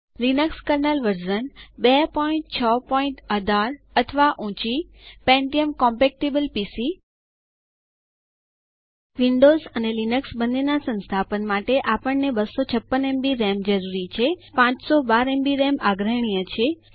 Linux kernel version 2618 અથવા ઊંચીPentium compatible PC Windows અને લિનક્સ બંને ના સંસ્થાપન માટે આપણને 256 એમબી રામ 512 એમબી રામ આગ્રહણીય છે જરૂરી છે